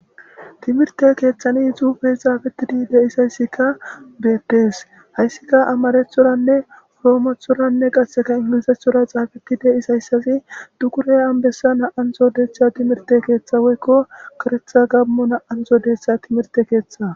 timirte keeththani xufe xaafetidi de isayssika beettes hayssika amarethoranne proomothoranne qasseka ingilisethora xaafeti de isayssafi dukure anbessa na7ansodetha timirte keeththawoykko koretha gammo na7anxodeetha timirte keeththa